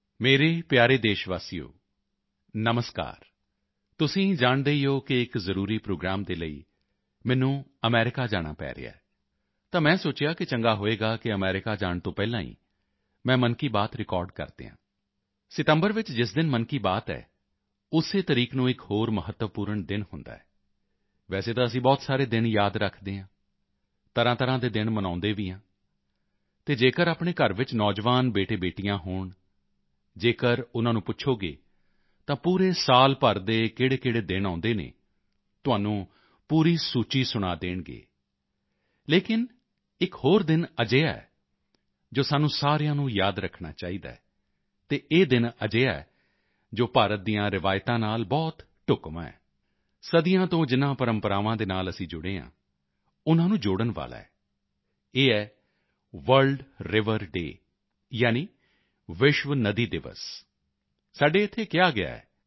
ਮੇਰੇ ਪਿਆਰੇ ਦੇਸ਼ਵਾਸੀਓ ਨਮਸਕਾਰ ਤੁਸੀਂ ਜਾਣਦੇ ਹੀ ਹੋ ਕਿ ਇੱਕ ਜ਼ਰੂਰੀ ਪ੍ਰੋਗਰਾਮ ਦੇ ਲਈ ਮੈਨੂੰ ਅਮਰੀਕਾ ਜਾਣਾ ਪੈ ਰਿਹਾ ਹੈ ਤਾਂ ਮੈਂ ਸੋਚਿਆ ਕਿ ਚੰਗਾ ਹੋਵੇਗਾ ਕਿ ਅਮਰੀਕਾ ਜਾਣ ਤੋਂ ਪਹਿਲਾਂ ਹੀ ਮੈਂ ਮਨ ਕੀ ਬਾਤ ਰਿਕਾਰਡ ਕਰ ਦਿਆਂ ਸਤੰਬਰ ਵਿੱਚ ਜਿਸ ਦਿਨ ਮਨ ਕੀ ਬਾਤ ਹੈ ਉਸੇ ਤਰੀਕ ਨੂੰ ਇੱਕ ਹੋਰ ਮਹੱਤਵਪੂਰਨ ਦਿਨ ਹੁੰਦਾ ਹੈ ਵੈਸੇ ਤਾਂ ਅਸੀਂ ਬਹੁਤ ਸਾਰੇ ਦਿਨ ਯਾਦ ਰੱਖਦੇ ਹਾਂ ਤਰ੍ਹਾਂਤਰ੍ਹਾਂ ਦੇ ਦਿਨ ਮਨਾਉਂਦੇ ਵੀ ਹਾਂ ਅਤੇ ਜੇਕਰ ਆਪਣੇ ਘਰ ਵਿੱਚ ਨੌਜਵਾਨ ਬੇਟੇਬੇਟੀਆਂ ਹੋਣ ਜੇਕਰ ਉਨ੍ਹਾਂ ਨੂੰ ਪੁੱਛੋਗੇ ਤਾਂ ਪੂਰੇ ਸਾਲ ਭਰ ਦੇ ਕਿਹੜੇਕਿਹੜੇ ਦਿਨ ਕਦੋਂ ਆਉਂਦੇ ਹਨ ਤੁਹਾਨੂੰ ਪੂਰੀ ਸੂਚੀ ਸੁਣਾ ਦੇਣਗੇ ਲੇਕਿਨ ਇੱਕ ਹੋਰ ਦਿਨ ਅਜਿਹਾ ਹੈ ਜੋ ਸਾਨੂੰ ਸਾਰਿਆਂ ਨੂੰ ਯਾਦ ਰੱਖਣਾ ਚਾਹੀਦਾ ਹੈ ਅਤੇ ਇਹ ਦਿਨ ਅਜਿਹਾ ਹੈ ਜੋ ਭਾਰਤ ਦੀਆਂ ਰਵਾਇਤਾਂ ਨਾਲ ਬਹੁਤ ਢੁਕਵਾਂ ਹੈ ਸਦੀਆਂ ਤੋਂ ਜਿਨ੍ਹਾਂ ਪਰੰਪਰਾਵਾਂ ਨਾਲ ਅਸੀਂ ਜੁੜੇ ਹਾਂ ਉਨ੍ਹਾਂ ਨੂੰ ਜੋੜਨ ਵਾਲਾ ਹੈ ਇਹ ਹੈ ਵਰਲਡ ਰਿਵਰ ਡੇ ਯਾਨੀ ਵਿਸ਼ਵ ਨਦੀ ਦਿਵਸ ਸਾਡੇ ਇੱਥੇ ਕਿਹਾ ਗਿਆ ਹੈ